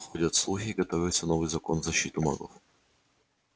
ходят слухи готовится новый закон в защиту маглов